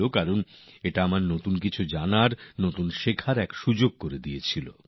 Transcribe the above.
একদিক থেকে আমার জন্যও তা কিছু নতুন জেনে নেওয়া নতুন কিছু শিখে নেওয়ার অবকাশ ছিল